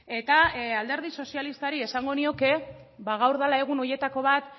eta alderdi sozialistari esango nioke ba gaur dela egun horietako bat